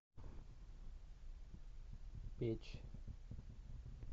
печь